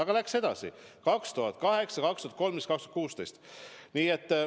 Ja läks edasi: 2008, 2013 ja 2016.